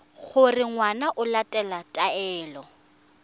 gore ngwana o latela taelo